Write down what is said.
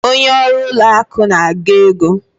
Onye ọrụ ụlọ akụ na-agụ ego.